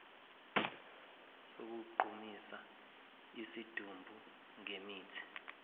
sokugqumisa isidumbu ngemithi